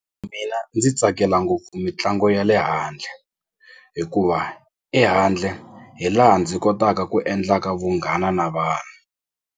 ndzi tsakela ngopfu mitlangu ya le handle hikuva ehandle hi laha ndzi kotaka ku endlaka vunghana na vanhu.